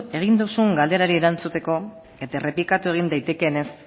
egin duzun galderari erantzuteko eta errepikatu egin daitekeenez